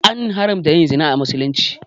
An haramta yin zina a misulumci